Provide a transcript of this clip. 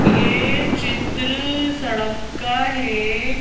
ये चित्र सड़क का है।